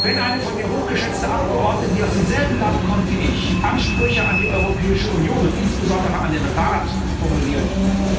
Wenn eine von mir hochgeschätzte Abgeordnete, die aus demselben Land kommt wie ich, Ansprüche an die Europäische Union und insbesondere an den Rat formuliert,